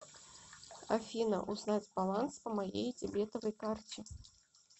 афина узнать баланс по моей дебетовой карте